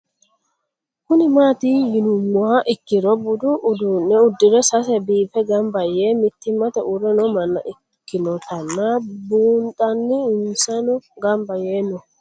Kuni mati yinumoha ikiro budu udune udire sese bife gamba yee mitimate uure noo manna ikinotana bunxana insano gamba yee no?